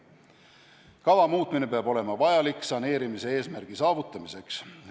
Kava muutmine peab olema vajalik saneerimise eesmärgi saavutamiseks.